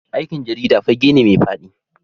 Aikin jarida fage ne mai fadi.